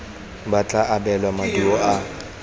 ba tla abelwa maduo a